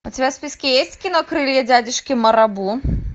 у тебя в списке есть кино крылья дядюшки марабу